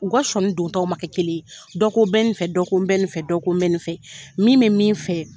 U ka sɔnni dontɔw ma kɛ kelen ye dɔ ko n bɛ nin fɛ, dɔ ko n bɛ nin fɛ, dɔ ko n bɛ nin fɛ, min bɛ min fɛ